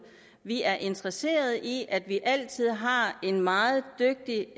vi er interesseret i at vi altid har en meget dygtig